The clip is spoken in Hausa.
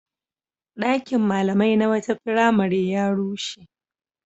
Ɗakin malamai na wata firamare ya rushe.